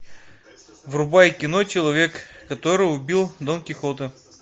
врубай кино человек который убил дон кихота